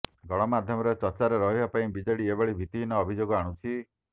ଗଣମାଧ୍ୟମରେ ଚର୍ଚ୍ଚାରେ ରହିବା ପାଇଁ ବିଜେଡି ଏଭଳି ଭିତ୍ତହୀନ ଅଭିଯୋଗ ଆଣୁଛି